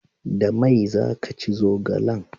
Da mai za ki ci zogalen?